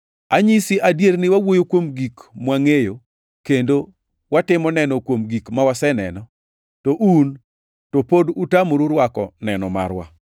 Anyisi adier ni wawuoyo kuom gik mwangʼeyo, kendo watimo neno kuom gik mwaseneno; to un, to pod utamoru rwako neno marwa.